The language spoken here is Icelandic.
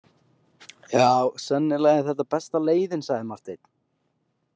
Já, sennilega er þetta besta leiðin, sagði Marteinn.